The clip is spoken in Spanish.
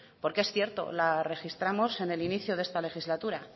porque es cierto la registramos en el inicio de esta legislatura